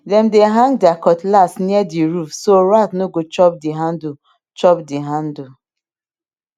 dem dey hang their cutlass near the roof so rat no go chop the handle chop the handle